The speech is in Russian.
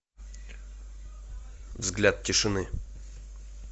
взгляд тишины